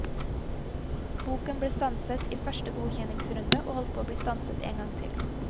Boken ble stanset i første godkjenningsrunde og holdt på å bli stanset en gang til.